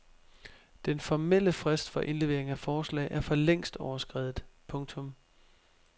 Den formelle frist for indlevering af forslag er forlængst overskredet. punktum